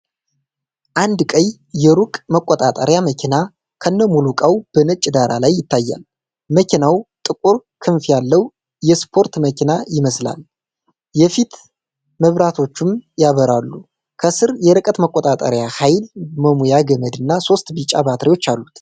አንድ ቀይ የሩቅ መቆጣጠሪያ መኪና ከነሙሉ እቃው በነጭ ዳራ ላይ ይታያል። መኪናው ጥቁር ክንፍ ያለው የስፖርት መኪና ይመስላል፤ የፊት መብራቶቹም ያበራሉ። ከስር የርቀት መቆጣጠሪያ፣ ኃይል መሙያ ገመድና ሦስት ቢጫ ባትሪዎች አሉ።